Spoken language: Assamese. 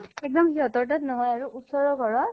এক্দম সিহঁতৰ তাত নহয় আৰু, ওচৰৰ ঘৰত